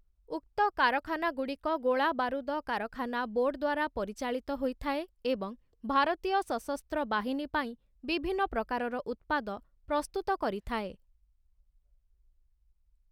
ଉକ୍ତ କାରଖାନାଗୁଡ଼ିକ ଗୋଳାବାରୁଦ କାରଖାନା ବୋର୍ଡ଼୍‌ ଦ୍ୱାରା ପରିଚାଳିତ ହୋଇଥାଏ ଏବଂ ଭାରତୀୟ ସଶସ୍ତ୍ର ବାହିନୀ ପାଇଁ ବିଭିନ୍ନ ପ୍ରକାରର ଉତ୍ପାଦ ପ୍ରସ୍ତୁତ କରିଥାଏ ।